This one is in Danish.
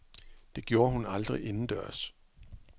Det gjorde hun aldrig indendørs.